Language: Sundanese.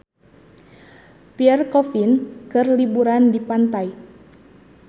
Pierre Coffin keur liburan di pantai